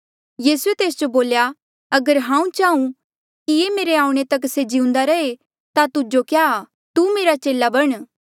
यीसूए तेस जो बोल्या अगर हांऊँ चाहूँ कि ये मेरे आऊणें तक से जिउंदा रहे ता तुजो क्या आ तू मेरा चेला बण